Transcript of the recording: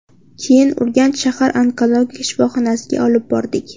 Keyin Urganch shahar onkologik shifoxonasiga olib bordik.